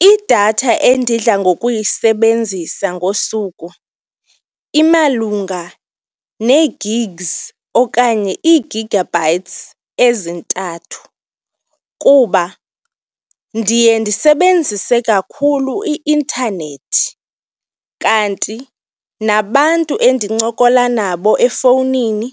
Idatha endidla ngokuyisebenzisa ngosuku imalunga nee-gigs okanye ii-gigabytes ezintathu kuba ndiye ndisebenzise kakhulu i-intanethi kanti nabantu endinoncokola nabo efowunini,